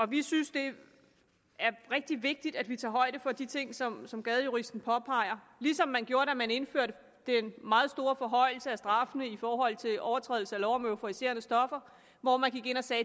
vi synes det er rigtig vigtigt at vi tager højde for de ting som som gadejuristen påpeger ligesom man gjorde da man indførte den meget store forhøjelse af straffene i forhold til overtrædelse af lov om euforiserende stoffer hvor man gik ind og sagde